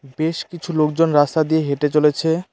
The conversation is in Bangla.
বেশ কিছু লোকজন রাস্তা দিয়ে হেঁটে চলেছে।